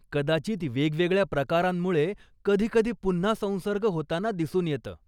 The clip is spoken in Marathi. कदाचित वेगवेगळ्या प्रकारांमुळे कधी कधी पुन्हा संसर्ग होताना दिसून येतं.